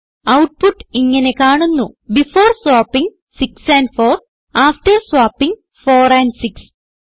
output ഇങ്ങനെ കാണുന്നു before swapping 6 and 4 after swapping 4 and 6